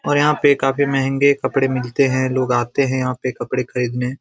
और यहाँ पे काफी महंगे कपड़े मिलते है लोग आते है यहाँ पे कपड़े खरीदने।